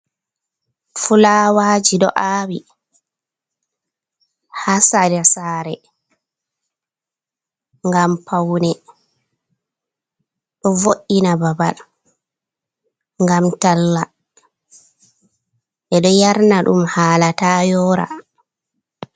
Fulawaji ɗo awi ha sera sare ngam paune. Ɗo vo’ina babal ngam talla. Ɓeɗo yarna ɗum hala ta yora.